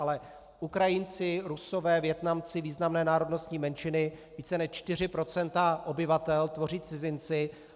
Ale Ukrajinci, Rusové, Vietnamci - významné národnostní menšiny, více než 4 % obyvatel tvoří cizinci.